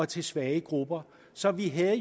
til svage grupper så vi havde